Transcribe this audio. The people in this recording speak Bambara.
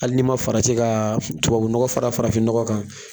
Hali ni ma farati ka tubabunɔgɔ fara farafinnɔgɔn kan